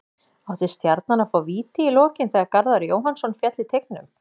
Átti Stjarnan að fá víti í lokin þegar Garðar Jóhannsson féll í teignum?